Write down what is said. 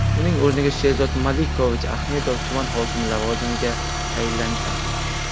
Uning o‘rniga Sherzod Malikovich Ahmedov tuman hokimi lavozimiga tayinlangan.